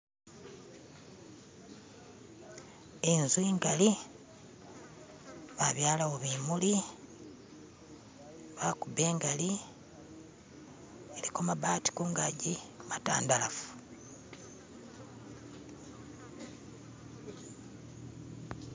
Inzu ingali babyalawo bimuli bakubba ingali iliko mabati kungaji matandalafu.